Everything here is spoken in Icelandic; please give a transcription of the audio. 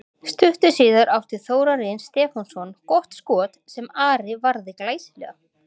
Stuttu síðar átti Þórarinn Stefánsson gott skot sem Ari varði glæsilega.